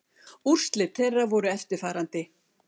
Úrslit þeirra voru eftirfarandi